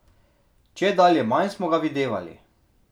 Čedalje manj smo ga videvali.